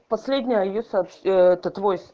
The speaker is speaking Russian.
последнее йоса это твой